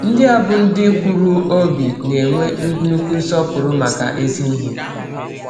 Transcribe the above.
Ndị a bụ ndị kwụụrụ obi, na-enwe nnukwu nsọpụrụ maka ezi ihe.